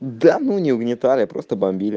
да ну угнетали просто бомбили